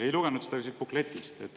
Ei lugenud ma seda välja ka siit bukletist.